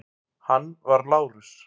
Hann var Lárus